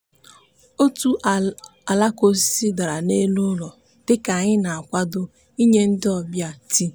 otu alaka osisi dara n'elu ụlọ dịka anyị na-akwado ịnye ndị ọbịa tii.